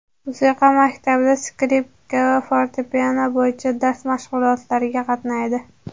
Musiqa maktabida skripka va fortepiano bo‘yicha dars mashg‘ulotlariga qatnaydi.